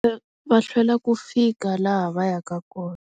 Va hlwela ku fika laha va yaka kona.